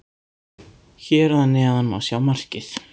Hér að neðan má sjá markið.